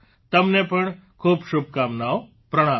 તમને પણ ખૂબ શુભકામનાઓ પ્રણામ